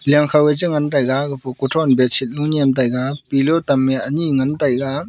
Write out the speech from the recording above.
lia khou e chengan taiga gapo kuthron bedsheet lunyu nyem taiga pillow tam we anyi ngan taiga.